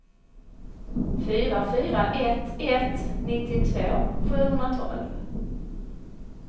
fyra fyra ett ett nittiotvå sjuhundratolv